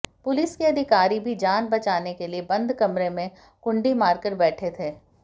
police के अधिकारी भी जान बचाने के लिए बंद कमरे में कुंडी मारकर बैठे थे